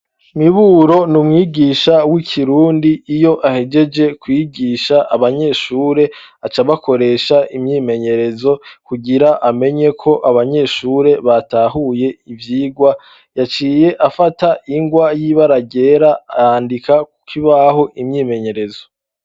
Miburo niumwigisha w'ikirundi. Iyo ahejeje kwiyigisha abanyeshure aca abakoresha imyimenyerezo. Kugira amenye ko abanyeshure batahuye ivyigwa, yaciye afata ingwa y'ibara ryera arandika ku kibaho imyimenyerezo.